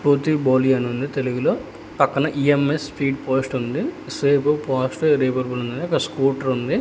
పుత్లీబౌలి అని ఉంది తెలుగులో పక్కన ఈఎంఎస్ స్పీడ్ పోస్ట్ ఉంది సేఫ్ ఫాస్ట్ రెవరబుల్ ఉంది ఒక స్కూటర్ ఉంది.